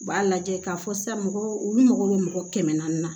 U b'a lajɛ k'a fɔ sisan mɔgɔ olu mago bɛ mɔgɔ kɛmɛ naani na